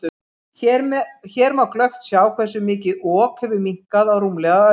Hér má glöggt sjá hversu mikið Ok hefur minnkað á rúmlega öld.